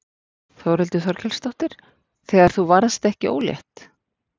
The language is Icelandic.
Þórhildur Þorkelsdóttir: Þegar þú varðst ekki ólétt?